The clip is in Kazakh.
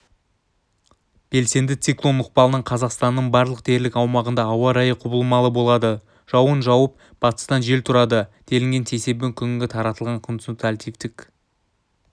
белсенді циклон ықпалынан қазақстанның барлық дерлік аумағында ауа райы құбылмалы болады жауын жауып батыстан жел тұрады делінген сейсенбі күні таратылған консультативтік